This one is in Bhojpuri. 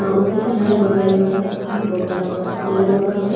ओके किनारे बहुत बड़ा बड़ा का घास बहुत बड़ा बड़ा सा पेड़ लौकत हवे।